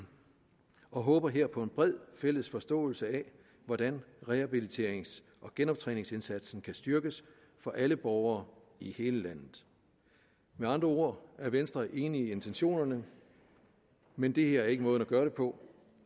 og vi håber her på en bred fælles forståelse af hvordan rehabiliterings og genoptræningsindsatsen kan styrkes for alle borgere i hele landet med andre ord er venstre enig i intentionerne men det her er ikke måden at gøre det på